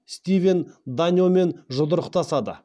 стивен даньомен жұдырықтасады